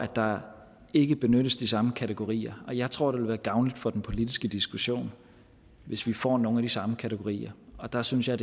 der ikke benyttes de samme kategorier jeg tror det vil være gavnligt for den politiske diskussion hvis vi får nogle af de samme kategorier der synes jeg